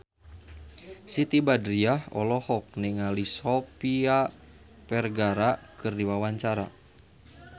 Siti Badriah olohok ningali Sofia Vergara keur diwawancara